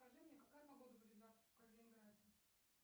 скажи мне какая погода будет завтра в калининграде